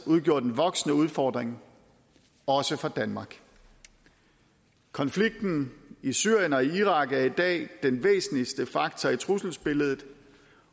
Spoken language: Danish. udgjort en voksende udfordring også for danmark konflikten i syrien og irak er i dag den væsentligste faktor i trusselsbilledet